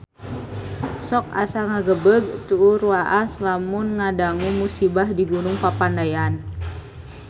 Sok asa ngagebeg tur waas lamun ngadangu musibah di Gunung Papandayan